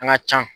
An ka ca